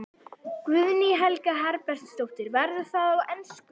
Guðný Helga Herbertsdóttir: Verður það á ensku?